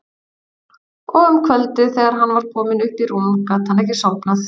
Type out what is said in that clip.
Og um kvöldið þegar hann var kominn upp í rúm gat hann ekki sofnað.